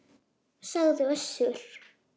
sagði Össur.